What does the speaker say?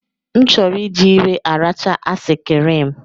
M chọrọ iji ire arachaa asikirim